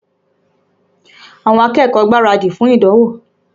Àwọn akẹ́kọ̀ọ́ ń gbaradì fún ìdánwò.